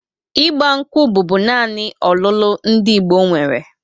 Ịgba nkwụ bụbu naanị ọlụlụ ndị Igbo nwere